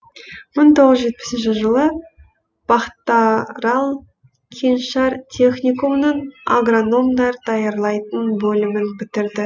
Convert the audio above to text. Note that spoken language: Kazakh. мың тоғыз жүз жетпісінші жылы пахтарал кеңшар техникумының агрономдар даярлайтын бөлімін бітірді